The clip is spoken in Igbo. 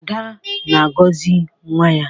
Ada na-agọzi nwa ya.